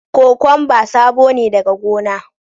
Kokwamba sabo ne daga gona